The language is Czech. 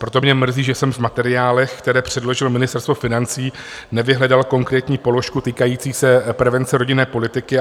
Proto mě mrzí, že jsem v materiálech, které předložilo Ministerstvo financí, nevyhledal konkrétní položku týkající se prevence rodinné politiky.